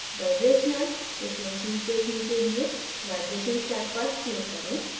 vibrational frequencies देखने के लिए vibrations टैब पर click करें